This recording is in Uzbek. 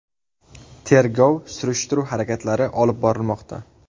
Tergov-surishtiruv harakatlari olib borilmoqda.